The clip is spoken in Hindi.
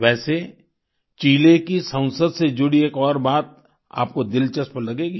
वैसे चिले की संसद से जुड़ी एक और बात आपको दिलचस्प लगेगी